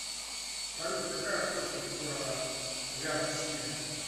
салют какая площадь у города вяртсиля